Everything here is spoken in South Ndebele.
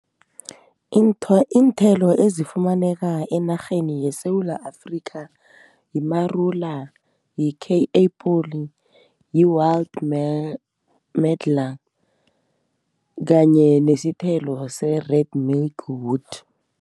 Iinthelo ezifumaneka enarheni yeSewula Afrika yimarula, yi-kei apple, yi-wild medlar kanye nesithelo se-red milkwood.